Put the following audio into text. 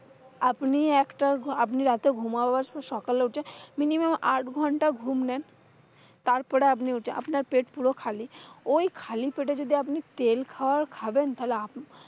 আপনি একটা, আপনি রাতে ঘুমাবার সকালে উঠে minimum আটঘন্টা ঘুম নেন। তারপরে আপনি উঠে আপনার পেটা পুরো খালি। ঐ খালি পেটে যদি আপনি তেল খাবার খাবেন তাহলে আপনার,